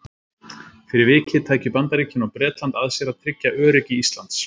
Fyrir vikið tækju Bandaríkin og Bretland að sér að tryggja öryggi Íslands.